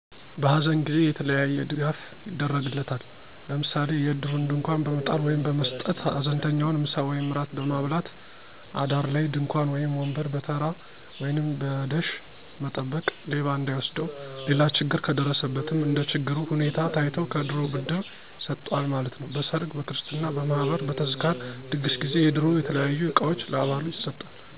በሃዘን ጊዜ የተለያየ ድጋፍ ይደረግለታል፤ ለምሣሌ የዕድሩን ድንኳን በመጣል ወይም በመሥጠት፣ ሀዘንተኛውን ምሣ ወይም እራት በማብላት፣ አዳር ላይ ድንኳን ወይም ወንበር በተራ ወይንም በደሽ መጠበቅ ሌባ እንዳይወስደው። ሌላ ችግር ከደረሠበትም እንደችግሩ ሁኔታ ታይቶ ከዕድሩ ብር ይሠጠዋል ማለት ነው። በሠርግ፣ በክርሥትና፣ በማህበር፣ በተዝካር ድግስ ጊዜ የዕድሩ የተለያዩ ዕቃዎችን ለአባሉ ይሠጣል።